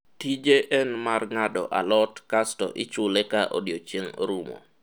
tije en mar ng'ado alot kasto ichule ka odiechieng' orumo